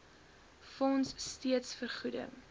fonds steeds vergoeding